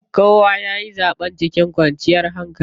Kowa yayi zaɓen cikin kwanciyar hankali.